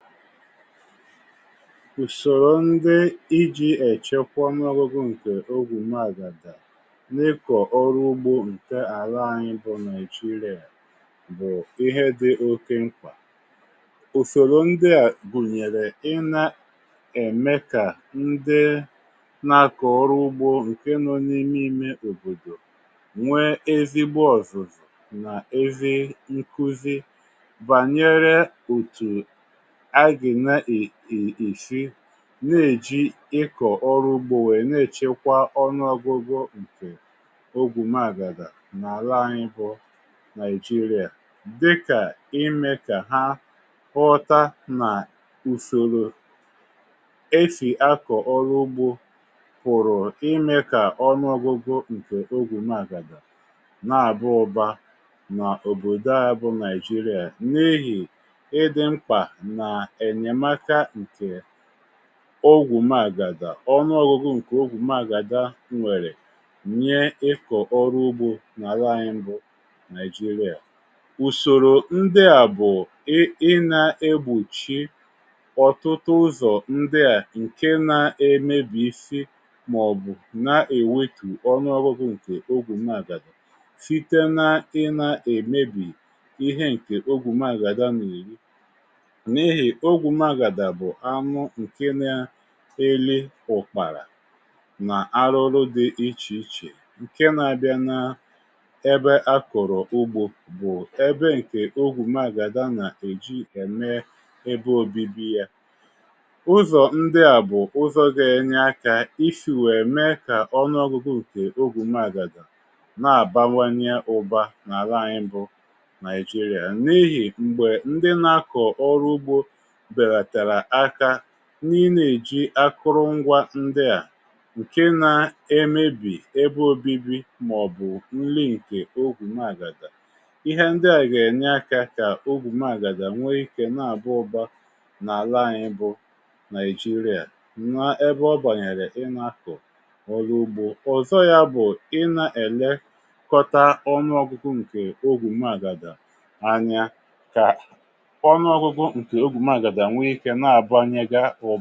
Usòrò ndị iji ọnụọgụgụ ǹkè ogwu magàda n’ịkọ̀ ọrụ ugbȯ ǹke àlà anyị bụ̀ Nàijiria bụ̀ ihé dị oké mkpa. Usòrò ndị à gùnyèrè ị na ème kà ndị nȧ akọ̀ ọrụ ugbȯ ǹkè nọ n’ime imė òbòdò nwe ezigbo ọ̀zụ̀zụ̀ nà ezi nkuzi banyere otu esi na-èji ịkọ̀ ọrụ ugbȯ wèe na-èchekwa ọnụọgụgụ ǹkè ogwù maàgàdà nà-àla anyị bụ Nàijiria dịkà imė kà ha họta nà usoro esi akọ̀ ọrụ ugbȯ pụ̀rụ̀ imė kà ọnụọgụgụ ǹkè ogwù màgàdà nà àba ụba nà òbòdò ayị bụ nàijiria n’ihì ị dị mkpà nà enyemaka nkè ohù màgàda. ọnụọgụgụ ǹkè ohù màgàda nwèrè nyé ịkọ̀ ọrụ ugbȯ nà àlà anyị bụ nàị̀jịrịà. Ùsòrò ndị à bụ̀ ị ị na-egbòchi ọ̀tụtụ ụzọ̀ ndịà ǹke na-emebì isi màọ̀bụ̀ na-èwètù ọnụọgụgụ ǹkè ogwù màgàda site nà ị nà èmebì ihé ǹkè ogwù màgàda nà-èri n'ihi, ogwu magàda bụ̀ anụ ǹke na-eri ụkpàrà nà arụrụ dị ichè ichè ǹke na-abịa n’ebe a kọ̀rọ̀ ugbȯ bụ̀ ẹbe ǹkè ohụ magàda nà-èji ème ebe ȯbi̇bi̇ yȧ. Ụ̀zọ̀ ndị à bụ̀ ụzọ̇ gá enye akȧ ísì wèe mee kà ọnụ̇ọgụgụ nkè ohu magàda na-àbawanye ụ̇bȧ n’àla anyị̇ bụ̇ Nàijiria n’ihì m̀gbè ndị na-akọ̀ ọrụ ugbȯ belatara áká n’inė èji akụrụngwȧ ndị à ǹke na-emėbì ebe obibi màọ̀bụ̀ nri ǹkè ohu magàdà. ihé ndị à gà-ènye akȧ kà ohù magàdà nwèe ikė n’àba ụbȧ n’àla ànyị bụ Nàị̀jịrà n’ebe ọ bànyèrè ị nȧ-akụ̀ ọ̀rụ̀ ugbo. Ọzọ yȧ bụ̀ ị na-èlekọta ọnụ̇- ọgụgụ ǹkè ohu magàdà anya kà ọnụọgụgụ ǹkè ogwù màgàda nwé ike nà àbanye gá ụ.